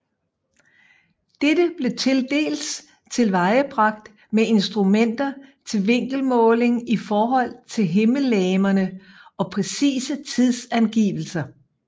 Dette blev tildels tilvejebragt med instrumenter til vinkelmåling i forhold til himmellegemerne og præcise tidsangivelser